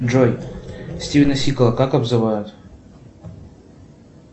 джой стивена сигала как обзывают